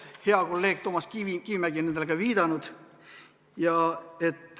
Hea kolleeg Toomas Kivimägi on nendele ka viidanud.